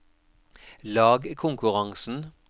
lagkonkurransen